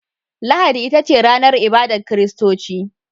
Lahadi ita ce ranar ibadar kiristoci.